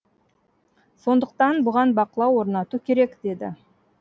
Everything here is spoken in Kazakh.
сондықтан бұған бақылау орнату керек деді